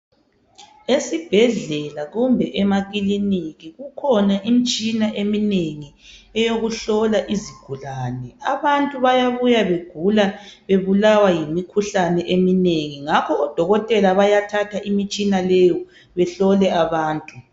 Esibhedlela kumbe emakiliniki kukhona imitshina eminengi eyokuhlola izigulane abantu bayabuya begula bebulawa yimikhuhlane eminengi ngakho odokotela bayathatha imitshina leyo behlole abantu.